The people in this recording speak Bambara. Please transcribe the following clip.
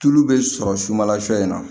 Tulu bɛ sɔrɔ sukala sɔ in na